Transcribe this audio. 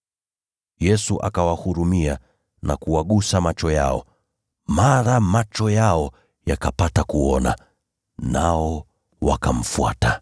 Yesu akawahurumia na kuwagusa macho yao. Mara macho yao yakapata kuona, nao wakamfuata.